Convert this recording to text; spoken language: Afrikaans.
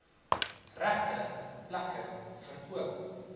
regte plekke verkoop